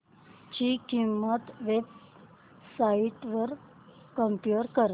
ची किंमत web sites वर कम्पेअर कर